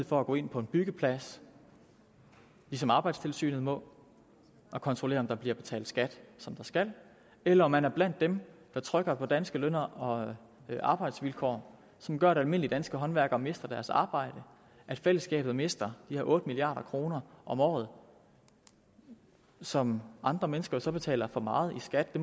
for at gå ind på en byggeplads ligesom arbejdstilsynet må og kontrollere om der bliver betalt skat som der skal eller om man er blandt dem der trykker danske løn og arbejdsvilkår som gør at almindelige danske håndværkere mister deres arbejde og at fællesskabet mister de her otte milliard kroner om året som andre mennesker jo så betaler for meget i skat